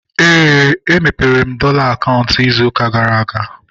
Éè, e mepere m dọla akaụntụ ịzụ ụka gara aga